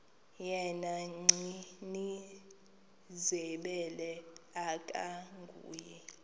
yena gcinizibele akanguye